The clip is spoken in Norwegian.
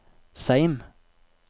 Seim